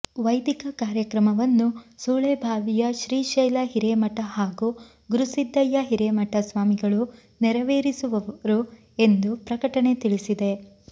ವೈದಿಕ ಕಾರ್ಯಕ್ರಮವನ್ನು ಸುಳೇಭಾವಿಯ ಶ್ರೀಶೈಲ ಹಿರೇಮಠ ಹಾಗೂ ಗುರುಸಿದ್ದಯ್ಯ ಹಿರೇಮಠ ಸ್ವಾಮಿಗಳು ನೆರವೇರಿಸುವರು ಎಂದು ಪ್ರಕಟಣೆ ತಿಳಿಸಿದೆ